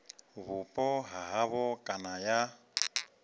vhupo ha havho kana ya